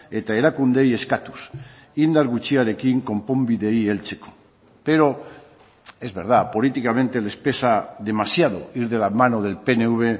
eta erakundeei eskatuz indar gutxiarekin konponbideei heltzeko pero es verdad políticamente les pesa demasiado ir de la mano del pnv